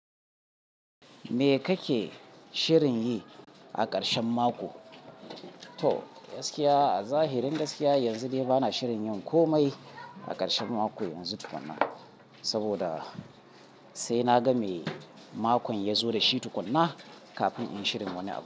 Me kake shirin yi a ƙarshen mako? To gaskiya a zahirin gaskiya, yanzu dai bana shirin yin komai a ƙarshen mako yanzu tukuna, saboda sai na ga me makon ya zo da shi tukuna, kafin in shirin wani abu.